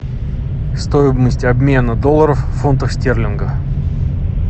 стоимость обмена долларов в фунтах стерлинга